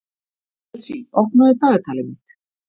Elsí, opnaðu dagatalið mitt.